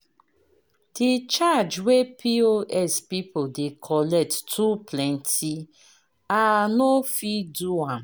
De charge wey POS people dey collect too plenty, I no fit do am.